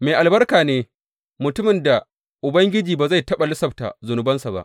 Mai albarka ne mutumin da Ubangiji ba zai taɓa lissafta zunubansa ba.